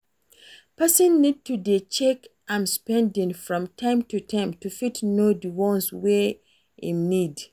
Person need to dey check im spending from time to time to fit know di ones wey im need